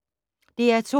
DR2